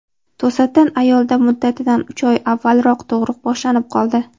To‘satdan ayolda muddatidan uch oy avvalroq tug‘ruq boshlanib qoldi.